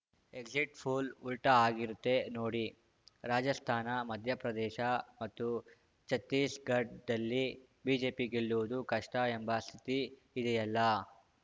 exit poll ಉಲ್ಟಾಆಗಿರುತ್ತೆ ನೋಡಿ ರಾಜಸ್ಥಾನ ಮಧ್ಯಪ್ರದೇಶ ಮತ್ತು ಛತ್ತೀಸ್‌ಗಡ್ ದಲ್ಲಿ ಬಿಜೆಪಿ ಗೆಲ್ಲುವುದು ಕಷ್ಟಎಂಬ ಸ್ಥಿತಿ ಇದೆಯಲ್ಲಾ